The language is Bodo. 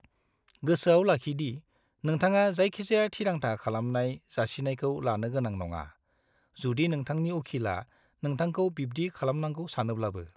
गोसोआव लाखि दि नोंथाङा जायखिजाया थिरांथा खालामनाय जासिनायखौ लानो गोनां नङा, जुदि नोंथांनि उखिला नोंथांखौ बिब्दि खालामनांगौ सानोब्लाबो।